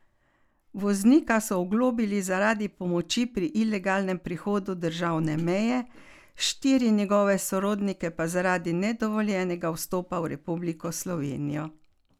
Voznika so oglobili zaradi pomoči pri ilegalnem prehodu državne meje, štiri njegove sorodnike pa zaradi nedovoljenega vstopa v Republiko Slovenijo.